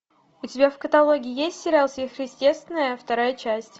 у тебя в каталоге есть сериал сверхъестественное вторая часть